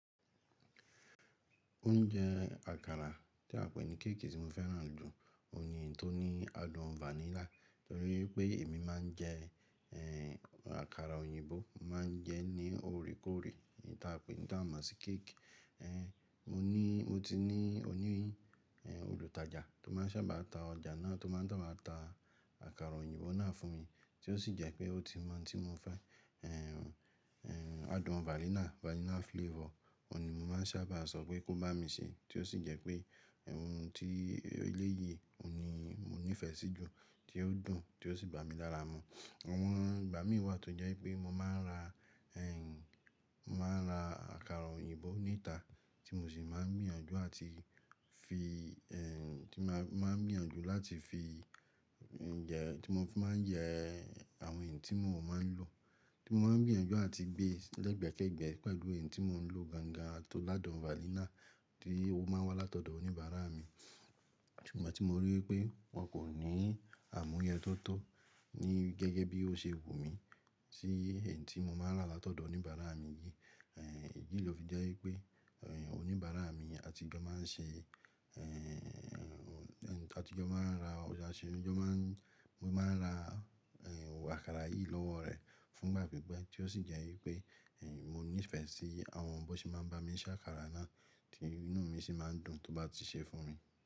Oúnjẹ àkàrà tí a pè ní kéèkì tí mo fẹ́ràn jù òun yìí tó ní adùn vanilla, torí pé èmi máa ń jẹ e àkàrà òyìnbó, máa ń jẹ ní ore kore n tí a pè ní tí a mọ̀ sí kéèkì. Mo ní, mo ti ní òní olùtajà tó máa ń sábà ta ọjà náà tó máa ń saba ta àkàrà òyìnbó náà fún mi, tí ó sì jẹ́ pé ó ti mọ̀ oun tí mo fẹ́ adùn vanilla, vanilla flavor, òun ni mo máa ń sábà sọ pé kó bá mi ṣe é, tí ó sì jẹ́ pé òun ti eléyìí òun ni mo nífẹ̀ẹ́ sí jù tí ó dùn tí ó sì bá mi lára mu. Àwọn ìgbà mìí tó jẹ́ pé mo máa ń ra, mo máa ń ra àkàrà òyìnbó níta tí mo sì máa ń gbìyànjú àti fi, e tí máa ń gbiyanju láti fi jẹ, tí mo fi máa ń jẹ àwọn èyí tí mò mọ́ ń lo. Tí mo bá ń gbìyànjú àti gbé ẹgbẹ́kẹ́gbẹ́ pẹ̀lú èyí tí mò ń lo gangan tó lá adùn vanilla tí ó máa ń wá látọ̀dọ̀ oníbàárà mi. Tí ìgbà tí mo rí i pé wọn kò ní àmúyẹ tóto ní gẹ́gẹ́ bí ó ṣe wù mí sí èyí tí mo máa ń rà látọ̀dọ̀ oníbàárà mi yìí. Èyí ló fi jẹ́ wípé oníbàárà mi, àti ìjọ máa ń ṣe, eee àti ìjọ máa ń ra ọjà ṣe, ìjọ máa ń, mo máa ń ra àkàrà yìí lọ́wọ́ rẹ̀ fún ìgbà pípẹ́ tí ó sì jẹ́ wípé mo nífẹ̀ẹ́ sí àwọn bó ṣe máa ń bá mi ṣe àkàrà náà tí inú mi sì máa ń dùn tó bá ti ṣe fún mi.